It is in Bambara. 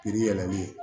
Pikiri yɛlɛmali ye